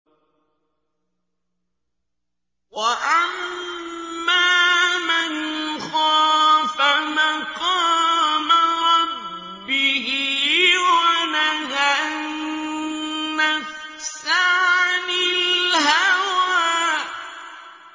وَأَمَّا مَنْ خَافَ مَقَامَ رَبِّهِ وَنَهَى النَّفْسَ عَنِ الْهَوَىٰ